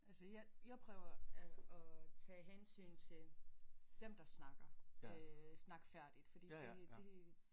Altså jeg jeg prøver at at tage hensyn til dem der snakker øh snakke færdigt fordi det det